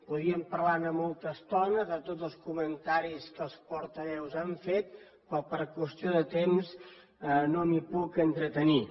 podríem parlar ne molta estona de tots els comentaris que els portaveus que han fet però per qüestió de temps no m’hi puc entretenir